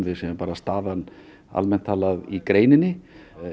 staðan almennt talað í greininni